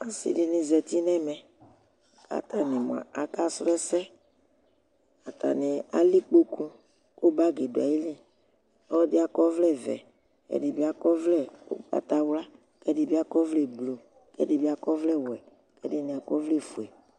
asidini zatiɔ ɛnɛ katani sɔlɛse atani alɛ ikpɔku ku bagi dɔaili ɔlɔdi akɔvɛl vɛ edibi akɔvɛl ɔkpataɣa ku ɛdibi blɔ kɛdibi